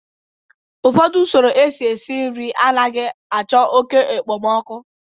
ụfọdụ usoro esi nri anaghị achọ oke okpomọkụ